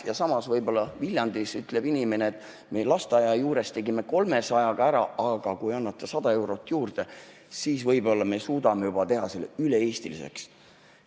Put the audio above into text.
Ja samas võib-olla Viljandis ütleb inimene, et me lasteaia juures tegime 300-ga ära, aga kui annate 100 eurot juurde, siis võib-olla suudame teha selle üle-eestiliseks.